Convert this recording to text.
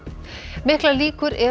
miklar líkur eru